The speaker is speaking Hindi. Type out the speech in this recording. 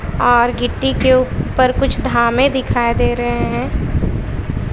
और गिट्टी के ऊपर कुछ धामे दिखाई दे रहे है।